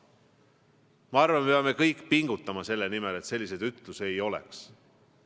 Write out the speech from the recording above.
Ma arvan, et me peame kõik pingutama selle nimel, et selliseid ütlusi ei oleks.